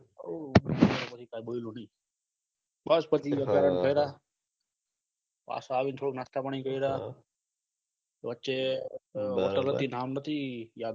બસ પછી અમે ત્યાં આગળ ફર્યા પાછા આવીને થોડું નાસ્તા પાણી કર્યા વચે hotel હતી નામ નથી યાદ થી